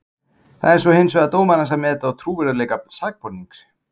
Það er svo hins vegar dómarans að meta trúverðugleika sakbornings.